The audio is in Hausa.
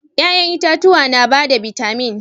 Yayan itatuwa na ba da bitamin.